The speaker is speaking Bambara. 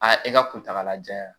Aa e ka kuntagalajan